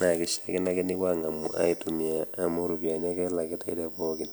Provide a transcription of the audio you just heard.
naa eishaakino ake newuoi ang'amu aitumia amu iropiani elakitai te pookin.